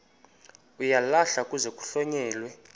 uyalahlwa kuze kuhlonyelwe